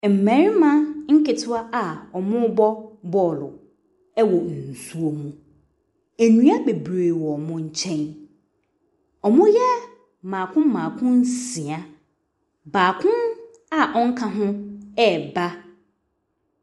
Mmarima ketewa a ɔmɔ bɔ bɔɔlo ɛwɔ nsuo mu ndua bebree wɔ ɔmɔ nkyɛn ɔmɔ yɛ mako mako nsia baako a ɔka hɔn ɛba.